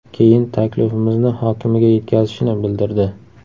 Keyin taklifimizni hokimiga yetkazishini bildirdi.